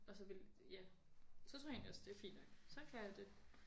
Og så ville ja. Så tror jeg egentlig også det er fint nok så kan jeg det